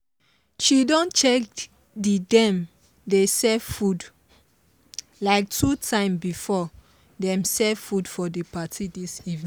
she don check the dem dey serve food like two times before them serve food for the party this evening